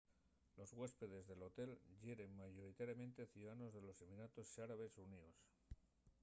los güéspedes del hotel yeren mayoritariamente ciudadanos de los emiratos árabes xuníos